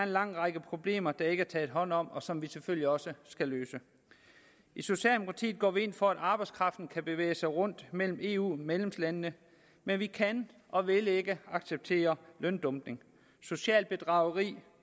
lang række problemer der ikke er taget hånd om og som vi selvfølgelig også skal løse i socialdemokratiet går vi ind for at arbejdskraften kan bevæge sig rundt mellem eu medlemslandene men vi kan og vil ikke acceptere løndumping socialt bedrageri